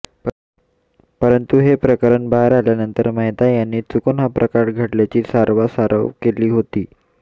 परंतू हे प्रकरण बाहेर आल्यानंतर मेहता यांनी चुकून हा प्रकार घडल्याची सारवासारव केली होती